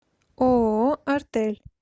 ооо артель